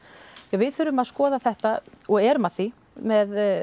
við þurfum að skoða þetta og erum að því með